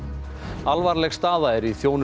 alvarleg staða er í þjónustu